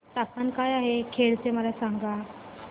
तापमान काय आहे खेड चे मला सांगा